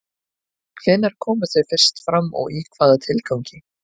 Hvenær komu þau fyrst fram og í hvaða tilgangi?